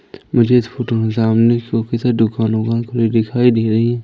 मुझे इस फोटो में सामने दुकान वोकान खुली दिखाई दे रही--